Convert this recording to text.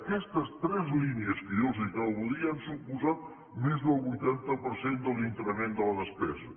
aquestes tres línies que jo els acabo de dir han suposat més del vuitanta per cent de l’increment de la despesa